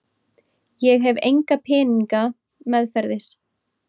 Ég hef enga peninga meðferðis.